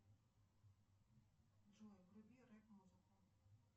джой вруби рэп музыку